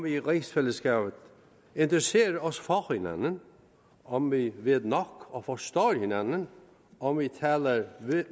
i rigsfællesskabet interesserer os for hinanden om vi ved nok om og forstår hinanden om vi taler